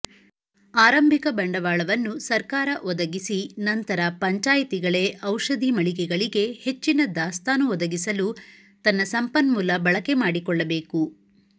ಆರಂಭಿಕ ಬಂಡವಾಳವನ್ನು ಸರ್ಕಾರ ಒದಗಿಸಿ ನಂತರ ಪಂಚಾಯಿತಿಗಳೇ ಔಷಧಿ ಮಳಿಗೆಗಳಿಗೆ ಹೆಚ್ಚಿನ ದಾಸ್ತಾನು ಒದಗಿಸಲು ತನ್ನ ಸಂಪನ್ಮೂಲ ಬಳಕೆ ಮಾಡಿಕೊಳ್ಳಬೇಕು